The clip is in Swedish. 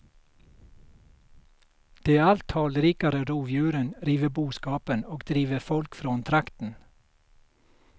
De allt talrikare rovdjuren river boskapen och driver folk från trakten.